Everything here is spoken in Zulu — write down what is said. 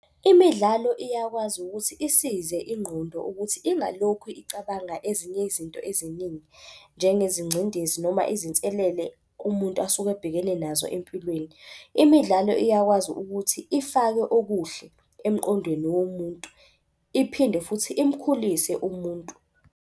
Imidlalo iyakwazi ukuthi isize ingqondo ukuthi ingalokhu icabanga ezinye izinto eziningi. Njengezingcindezi noma izinselele umuntu asuke ebhekene nazo empilweni. Imidlalo iyakwazi ukuthi ifake okuhle emqondweni womuntu, iphinde futhi imkhulise umuntu.